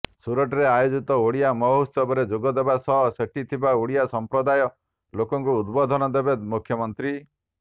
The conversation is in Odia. ସୁରଟରେ ଆୟୋଜିତ ଓଡ଼ିଆ ମହୋତ୍ସବରେ ଯୋଗ ଦେବା ସହ ସେଠି ଥିବା ଓଡ଼ିଆ ସଂପ୍ରଦାୟ ଲୋକଙ୍କୁ ଉଦ୍ବୋଧନ ଦେବେ ମୁଖ୍ୟମନ୍ତ୍ରୀ